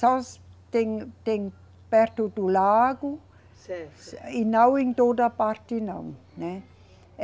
Só tem, tem perto do lago. Certo. E não em toda parte não, né, eh